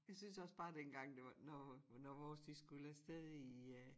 Jeg synes også bare dengang det var når når vores de skulle afsted i øh